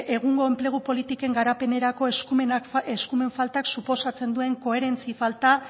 egungo enplegu politiken garapenerako eskumen faltak suposatzen duen koherentzia falta